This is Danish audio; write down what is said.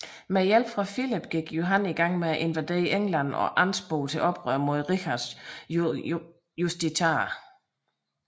Med hjælp fra Filip gik Johan gang med at invadere England og ansporede til oprør mod Richards justitiarer